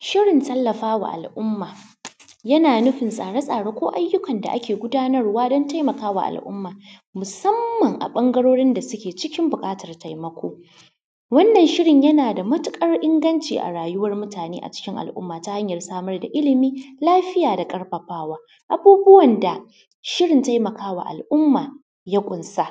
Shirin tallafawa al’umma, yana nufin tsare-tsare ko ayyukan da ake gudanarwa don taimakawa al’umma musamman a ɓangarorin da suke cikin buƙatar taimakon. Wannan shirin yana da matuƙar inganci a rayuwar mutane acikin al’umma ta hanyar samar da ilmi, lafiya da ƙarfafawa. Abubuwan da shirin taimakawa al’umma ya ƙunsa,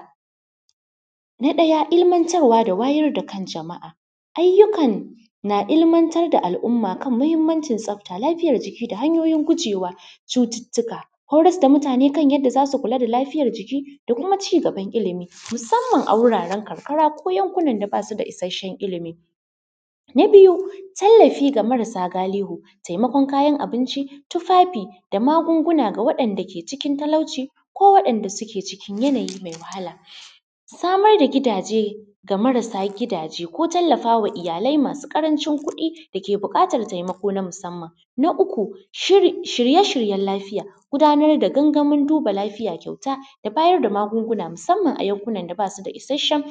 na ɗaya, ilmantarwa da wayar da kan jama’a, ayyukan na ilmantar da al’umma kan muhimmancin tsafta, lafiyar jiki da hanyoyin gujewa cututtuka, horas da mutane kan yadda zasu kuka da lafiyar jiki da kuma cigaban ilmi, musamman a wuraren karkara ko yankunan da basu da isasshen ilmi. Na biyu, tallafi ga marasa galihu, taimakon kayan abinci, tufafi da magunguna ga waɗanda ke cikin talauci ko waɗanda suke cikin yanayi mai wahala, samar da gidaje ga marasa gidaje ko tallafawa iyalai masu ƙarancin kuɗi da ke buƙatar taimako na musamman. Na uku, shirye-shiryen lafiya, gudanar da gangaminduba lafiya kyauta da bayar da magunguna musamman a yankunan da basu da isasshen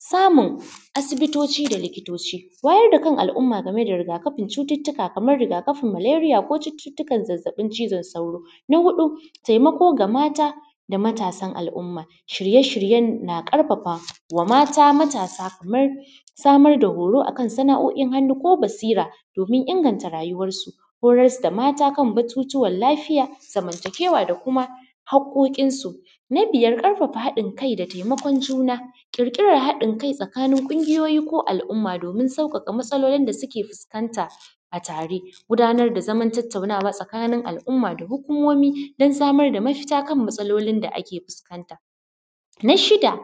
samun asibitoci da likitoci, wayar da al’umma gameda rigakafin cututtuka Kaman rigakafin malaria ko cututtukan zazzaɓin cizon sauro. Na huɗu, taimako ga mata da matasan al’umma, shirye-shiryen na ƙarfafawa mata matasa kamar samar da horo akan sana’o’in hannu ko basira domin inganta rayuwar su, horas da mata kan batutuwan lafiya, zamantakewa da kuma haƙƙoƙin su. Na biyar, ƙarfafa haɗin kai da taimakon juna, ƙirƙirar haɗin kai tsakanin ƙungiyoyi ko al’umma domin sauƙaƙa matsalolin da suke fuskanta a tare, gudanar da zaman tattaunawa tsakanin al’umma da hukumomi don samar da mafita kan matsalolin da ake fuskanta. Na shida,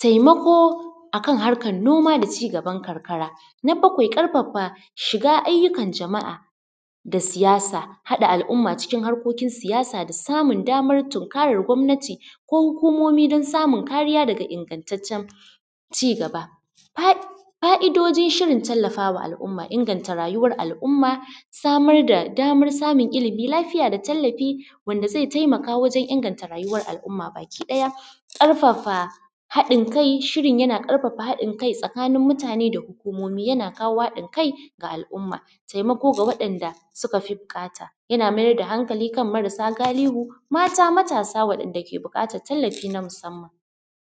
taimako akan harkan noma da cigaban karkara. Na bakwai, ƙarfafa shiga ayyukan jama’a da siyasa, haɗa al’umma cikin harkokin siyasa da samun damar tunkarar gwamnati ko hukumomi don samun kariya daga ingantaccen cigaba. Fa’idojin shirin tallafawa al’umma, inganta rayuwar al’umma, samar da daman samun ilmi lafiya da tallafi wanda zai taimaka wajen inganta rayuwar al’umma baki ɗaya. Ƙarfafa haɗin kai, shirin yana ƙarfafa haɗin kai tsakanin mutane da hukumomi, yana kawo hadin kai ga al’umma, taimako ga waɗanda suka fi buƙata, yana mayar da hankali kan marasa galihu, mata matasa waɗanda ke buƙatar tallafi na musamman.